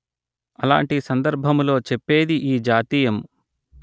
అలాంటి సందర్బములొ చేప్పేది ఈ జాతీయము